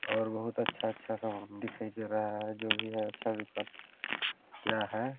और बहुत अच्छा -अच्छा सामान दिखाई दे रहा है जो भी है अच्छा-- हैं।